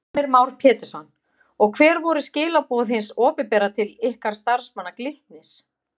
Heimir Már Pétursson: Og hver voru skilaboð hins opinbera til ykkar starfsmanna Glitnis?